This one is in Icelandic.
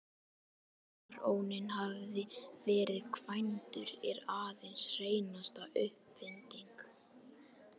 Að baróninn hafi verið kvæntur er aðeins hreinasta uppfinding.